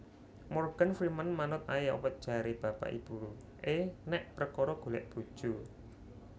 Morgan Freeman manut ae apa jare bapak ibu e nek perkoro golek bojo